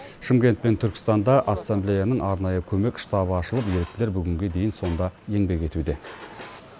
шымкент пен түркістанда ассамблеяның арнайы көмек штабы ашылып еріктілер бүгінге дейін сонда еңбек етуде